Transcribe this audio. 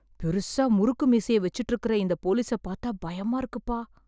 பெருசா முறுக்கு மீசைய வெச்சுட்டு இருக்கற இந்த போலிசை பாத்தா பயமா இருக்குப்பா.